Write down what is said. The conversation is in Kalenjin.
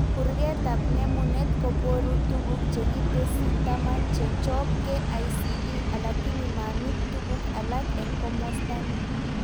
Kurketab nemunet koboru tuguk chekitesyi taman chechob KICD alakini mamit tuguk alak eng komosta ni